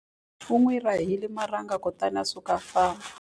U n'wi rahile marhanga kutani a suka a famba.